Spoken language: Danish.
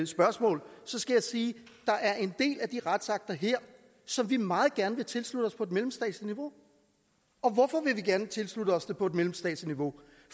spørgsmål skal jeg sige der er en del af de retsakter her som vi meget gerne vil tilslutte os på et mellemstatsligt niveau og hvorfor vil vi gerne tilslutte os dem på et mellemstatsligt niveau